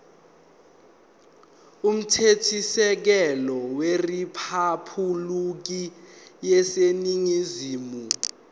umthethosisekelo weriphabhulikhi yaseningizimu